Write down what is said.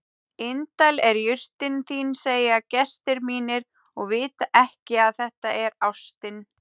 Indæl er jurtin þín segja gestir mínir og vita ekki að þetta er ástin.